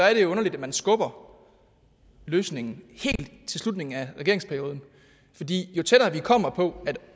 er det jo underligt at man skubber løsningen helt til slutningen af regeringsperioden fordi jo tættere vi kommer på